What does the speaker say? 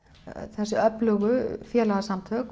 þessi öflugu félagasamtök